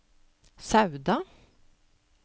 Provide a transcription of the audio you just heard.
Sauda